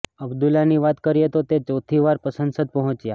અબ્દુલ્લાની વાત કરીએ તો તે ચોથી વાર સંસદ પહોંચ્યા